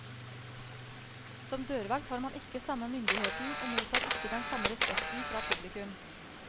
Som dørvakt har man ikke samme myndigheten, og mottar ikke den samme respekten fra publikum.